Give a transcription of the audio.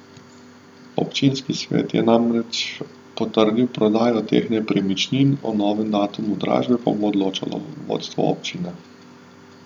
Občinski svet je namreč potrdil prodajo teh nepremičnin, o novem datumu dražbe pa bo odločalo vodstvo občine.